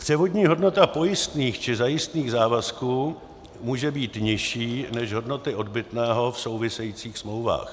Převodní hodnota pojistných či zajistných závazků může být nižší než hodnoty odbytného v souvisejících smlouvách.